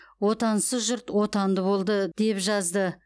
отансыз жұрт отанды болды деп жазды